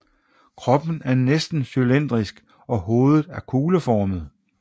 Kroppen er næsten cylindrisk og hovedet er kugleformet